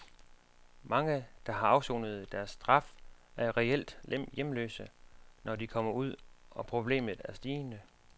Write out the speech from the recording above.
Mange, der har afsonet deres straf, er reelt hjemløse, når de kommer ud, og problemet er stigende.